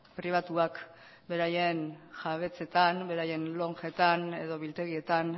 pribatuak beraien jabetzetan beraien lonjetan edo biltegietan